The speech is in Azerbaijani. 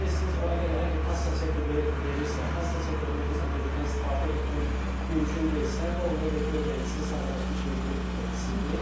Burda yəqin ki, siz o əgər kassa çeki verirsə, kassa çekində biz ƏDV-dən istifadə etmək mümkün deyilsə, bu onda vergi ödəyicisi sadələşmiş vergi ödəyicisidir.